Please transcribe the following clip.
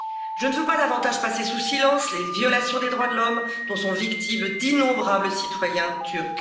Je ne veux pas davantage passer sous silence les violations des droits de l'homme dont sont victimes d'innombrables citoyens turcs.